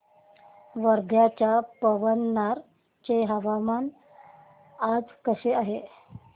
वर्ध्याच्या पवनार चे हवामान आज कसे आहे